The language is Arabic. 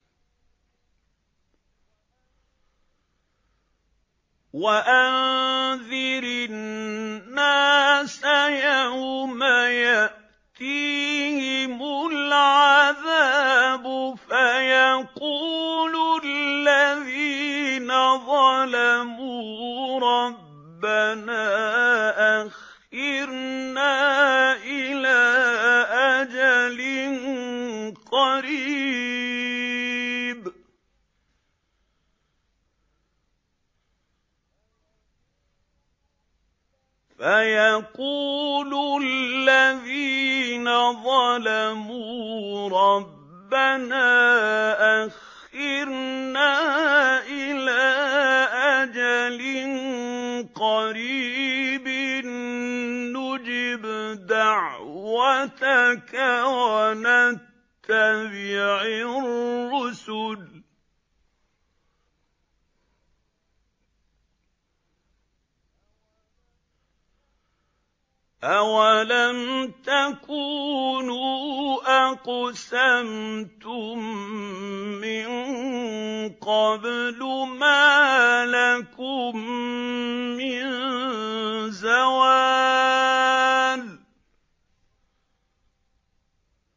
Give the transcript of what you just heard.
وَأَنذِرِ النَّاسَ يَوْمَ يَأْتِيهِمُ الْعَذَابُ فَيَقُولُ الَّذِينَ ظَلَمُوا رَبَّنَا أَخِّرْنَا إِلَىٰ أَجَلٍ قَرِيبٍ نُّجِبْ دَعْوَتَكَ وَنَتَّبِعِ الرُّسُلَ ۗ أَوَلَمْ تَكُونُوا أَقْسَمْتُم مِّن قَبْلُ مَا لَكُم مِّن زَوَالٍ